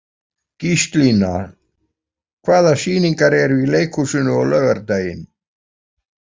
Gíslína, hvaða sýningar eru í leikhúsinu á laugardaginn?